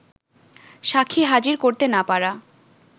সাক্ষী হাজির করতে না পারা